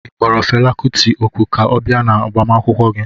Ị kpọrọ Fela kuti òkù ka ọ bịa agbamakwụkwọ gị?